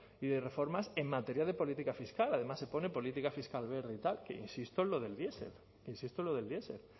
y de reformas en materia de política fiscal además se pone política fiscal verde y tal que insisto es lo del diesel